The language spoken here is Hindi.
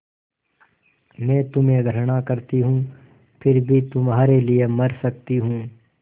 मैं तुम्हें घृणा करती हूँ फिर भी तुम्हारे लिए मर सकती हूँ